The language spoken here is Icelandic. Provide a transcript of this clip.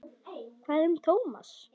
Hvað um Thomas?